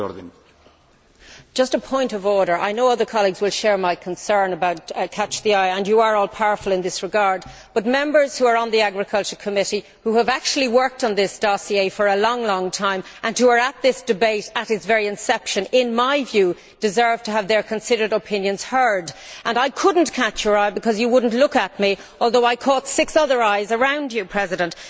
Mr President, just a point of order I know other colleagues will share my concern about catch the eye' and you are all powerful in this regard, but Members who are on the Agricultural Committee, who have actually worked on this dossier for a long time and who were at this debate at its very inception, in my view, deserve to have their considered opinions heard, and I could not catch your eye because you would not look at me, although I caught six other eyes around you, Mr President.